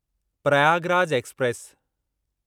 Prayagraj express